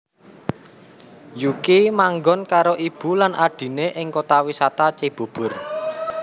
Yuki manggon karo ibu lan adhiné ing Kota Wisata Cibubur